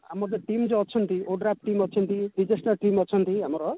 ଆମର ଯଉ team ଯଉ ଅଛନ୍ତି ODRAF team ଅଛନ୍ତି team ଅଛନ୍ତି ଆମର